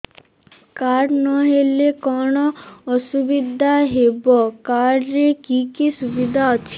card ନହେଲେ କଣ ଅସୁବିଧା ହେବ କାର୍ଡ ରେ କି କି ସୁବିଧା ଅଛି